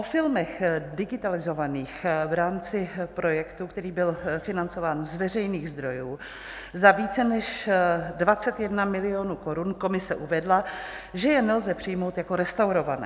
O filmech digitalizovaných v rámci projektu, který byl financován z veřejných zdrojů za více než 21 milionů korun, komise uvedla, že je nelze přijmout jako restaurované.